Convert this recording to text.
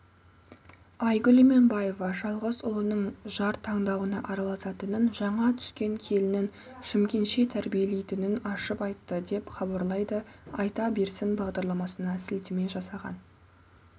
айгүл иманбаева жалғыз ұлының жар таңдауына араласатынын жаңа түскен келінін шымкентше тәрбиелейтінін ашып айтты деп хабарлайды айта берсін бағдарламасына сілтеме жасаған